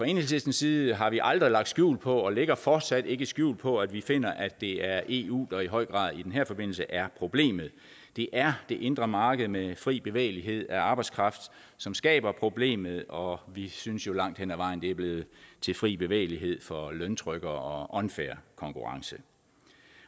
enhedslistens side har vi aldrig lagt skjul på og lægger fortsat ikke skjul på at vi finder at det er eu der i høj grad i den her forbindelse er problemet det er det indre marked med fri bevægelighed af arbejdskraft som skaber problemet og vi synes jo langt hen ad vejen er blevet til fri bevægelighed for løntrykkere og unfair konkurrence